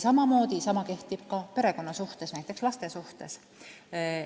Sama kehtib ka perekonna suhtes, näiteks laste suhtes.